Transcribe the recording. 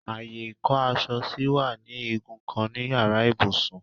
Ààyè ìkó-aṣọ sí wà ní igun kan in yàrá ibùsùn.